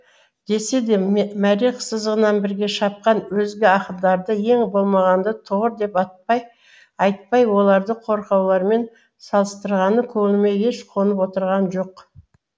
десе де мәре сызығынан бірге шапқан өзге ақындарды ең болмағанда тұғыр деп айтпай оларды қорқаулармен салыстырғаны көңіліме еш қонып отырған жоқ